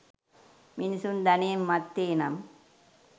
මිනිසුන් ධනයෙන් මත්වේ නම්